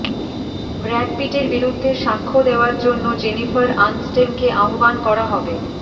Brad পিটের বিরুদ্ধে সাক্ষ্য দেয়ার জন্য জেনিফার আনস্টনকে আহ্বান করা হবে